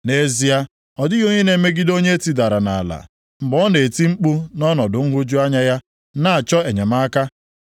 “Nʼezie, ọ dịghị onye na-emegide onye e tidara nʼala; mgbe ọ na-eti mkpu nʼọnọdụ nhụju anya ya na-achọ enyemaka.